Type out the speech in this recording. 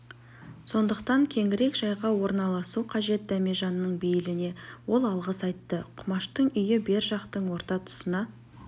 сондықтан кеңірек жайға орналасу қажет дәмежанның бейіліне ол алғыс айтты құмаштың үйі бер жақтың орта тұсына